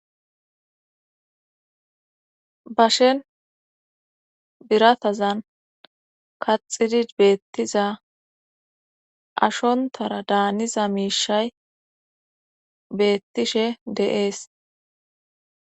Bashen biratazan kaxidi beettiza ashontara daaniza miishay beettishe deees.